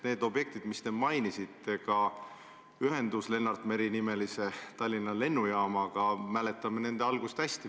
Need objektid, mida te mainisite, sh ühendus Lennart Meri nimelise Tallinna lennujaamaga – me mäletame nende algust hästi.